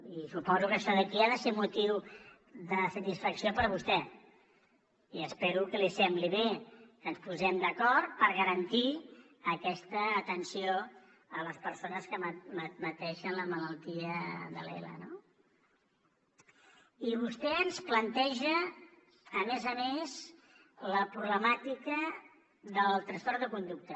i suposo que això d’aquí ha de ser motiu de satisfacció per a vostè i espero que li sembli bé que ens posem d’acord per garantir aquesta atenció a les persones que pateixen la malaltia de l’ela no i vostè ens planteja a més a més la problemàtica del trastorn de conducta